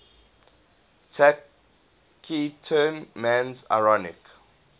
taciturn man's ironic